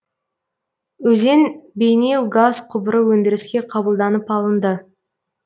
өзен бейнеу газ құбыры өндіріске қабылданып алынды